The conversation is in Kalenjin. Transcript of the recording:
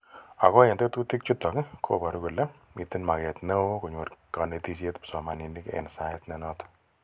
Ako eng tetutik chutok ko baru kole mitei maket neoo konyor kaniteshet psomaninik eng sait ne notok.